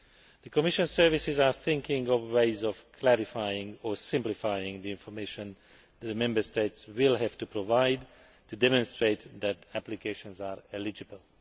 The Commission is looking at ways of clarifying or simplifying the information that the Member States will have to provide to demonstrate that applications are eligible.